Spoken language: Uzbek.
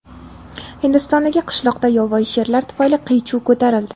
Hindistondagi qishloqda yovvoyi sherlar tufayli qiy-chuv ko‘tarildi.